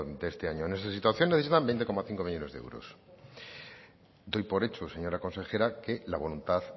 de este año en esa situación necesitan veinte coma cinco millónes de euros doy por hecho señora consejera que la voluntad